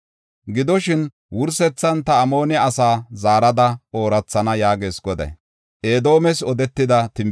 “Gidoshin, wursethan ta Amoone asaa zaarada oorathana” yaagees Goday.